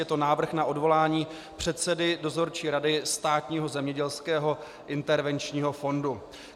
Je to Návrh na odvolání předsedy Dozorčí rady Státního zemědělského intervenčního fondu.